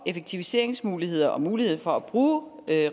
effektiviseringsmuligheder og muligheder for at bruge